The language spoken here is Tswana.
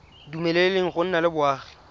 dumeleleng go nna le boagi